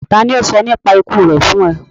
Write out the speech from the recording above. Tàni o sọ nípa iku rẹ fun ọ?